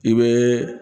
I bɛ